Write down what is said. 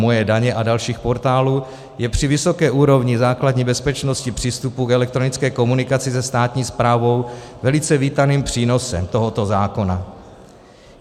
Moje daně a dalších portálů je při vysoké úrovni základní bezpečnosti přístupu k elektronické komunikaci se státní správou velice vítaným přínosem tohoto zákona.